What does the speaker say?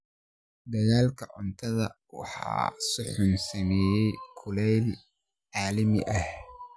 Dalagga cuntada waxaa si xun u saameeya kulaylka caalamiga ah.